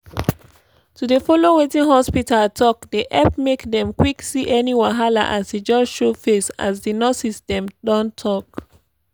to dey follow wetin hospita talk dey epp make dem quck see any wahala as e just show face as di nurses dem don talk